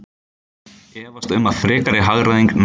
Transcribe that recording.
Efast um að frekari hagræðing náist